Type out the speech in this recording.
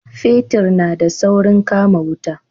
Fetir na da saurin kama wuta